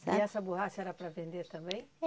Sabe. E essa borracha era para vender também?